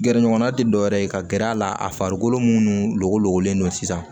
Gɛrɛɲɔgɔnna tɛ dɔwɛrɛ ye ka gɛrɛ a la a farikolo minnu logo logololen don sisan